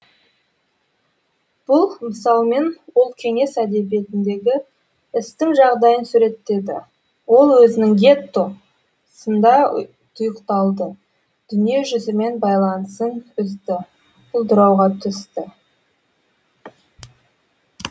бұл мысалмен ол кеңес әдебиетіндегі істің жағдайын суреттеді ол өзінің гетто сында тұйықталды дүние жүзімен байланысын үзді құлдырауға түсті